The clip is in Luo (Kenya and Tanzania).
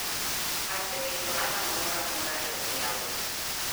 Aseketo alarm moro amora e odhiambo